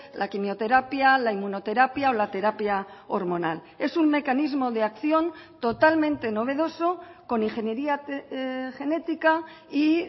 la quimioterapia la inmunoterapia o la terapia hormonal es un mecanismo de acción totalmente novedoso con ingeniería genética y